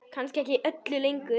Kannski ekki öllu lengur?